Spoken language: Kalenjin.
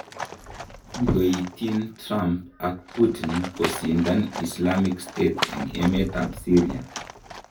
Kogoitin Trump ak Putin kosindan Islamic State en emet ab Syria.